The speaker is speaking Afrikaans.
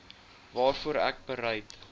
waarvoor ek bereid